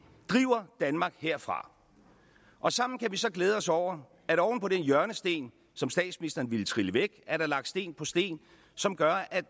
driver danmark herfra og sammen kan vi så glæde os over at oven på den hjørnesten som statsministeren ville trille væk er der lagt sten på sten som gør at